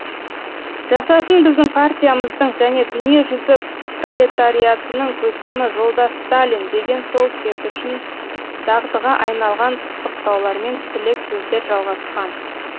жасасын біздің партиямыздың және дүниежүзі пролетариатының көсемі жолдас сталин деген сол кез үшін дағдыға айналған құттықтаулармен тілек сөздер жалғасқан